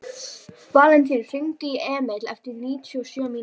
Valentínus, hringdu í Emíl eftir níutíu og sjö mínútur.